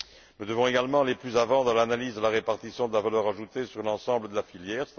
Nous devons également aller plus avant dans l'analyse de la répartition de la valeur ajoutée sur l'ensemble de la filière.